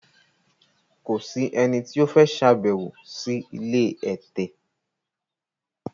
Kò sì ẹni tí o fẹ ṣabewo si ilé ẹtẹ